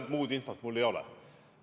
Muud infot mul ei ole.